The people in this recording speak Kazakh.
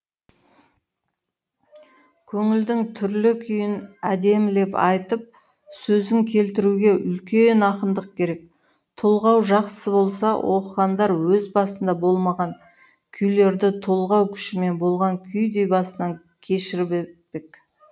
көңілдің түрлі күйін әдемілеп айтып сөзін келтіруге үлкен ақындық керек толғау жақсы болса оқығандар өз басында болмаған күйлерді толғау күшімен болған күйдей басынан кешіріп өтпек